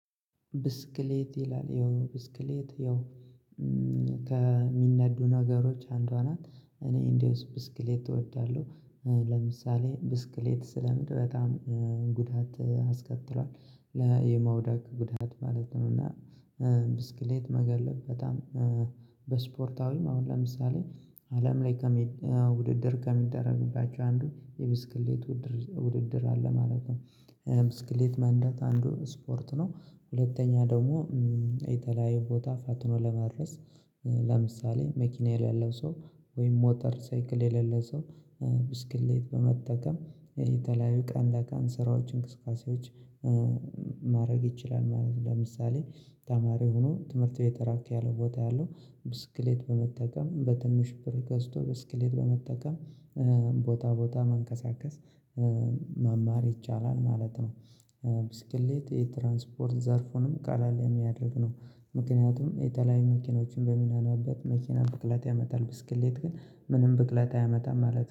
ብስክሌት ይላል ይኸው ብስክሌት ይኸው ከሚነዱ ነገሮች አንዷ ናት። እኔ እንደዚሁ ብስክሌት እወዳለሁ። ለምሳሌ ብስክሌት ስለምድ በጣም ጉዳት አስከትሏል። የመውደቅ ጉዳት ማለት ነው። እና ብስክሌት መጋለብ በጣም በስፖርታዊም አሁን ለምሳሌ አለም ላይ ውድድር ከሚደረግባቸው አንዱ የብስክሌት ውድድር አለ ማለት ነው። ብስክሌት መንዳት አንዱ ስፖርት ነው። ሁለተኛ ደግሞ የተለያዩ ቦታ ፋጥኖ ለመድረስ። ለምሳሌ መኪና የሌለው ሰው ወይም ሞተር ሳይክል የሌለው ሰው ብስክሌት በመጠቀም የተለያዩ ቀን ለቀን ስራዎች እንቅስቃሴዎች ማድረግ ይችላል ማለት ነው። ለምሳሌ ተማሪ ሆኖ ትምህርት ቤት ራቅ ያለው ቦታ ያለው ብስክሌት በመጠቀም በትንሽ ብር ገዝቶ ብስክሌት በመጠቀም ቦታ ቦታ መንቀሳቀስ መማር ይቻላል ማለት ነው። ብስክሌት የትራንስፖርት ዘርፉንም ቀለል የሚያደርግ ነው። ምክንያቱም የተለያዩ መኪኖችን በምንነዳበት መኪናን ብክለት ያመጣል ብስክሌት ግን ምንም ብክለት አያመጣም ማለት ነው